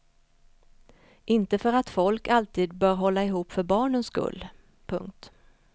Inte för att folk alltid bör hålla ihop för barnens skull. punkt